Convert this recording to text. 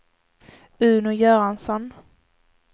Uno Göransson